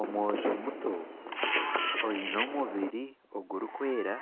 Omwojo muto oine omubiri gurikwera